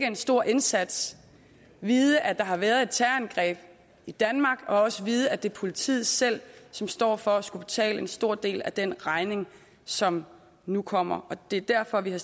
en stor indsats vide at der har været et terrorangreb i danmark og også vide at det er politiet selv som står for at skulle betale en stor del af den regning som nu kommer det er derfor vi har